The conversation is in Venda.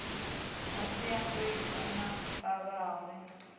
masiandoitwa a vhavhaho a hiv